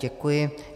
Děkuji.